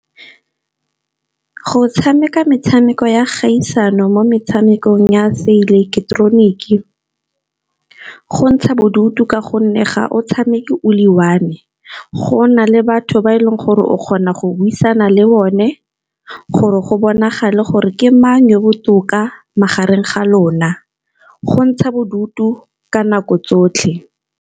Go tshameka metshameko ya kgaisano mo metshamekong ya se ileketeroniki go ntsha bodutu. Ka gonne ga o tshameke o le one, go na le batho ba e leng gore o kgona go buisana le bone, gore go bonagale gore ke mang yo botoka magareng ga lona. Go ntsha bodutu ka nako tsotlhe.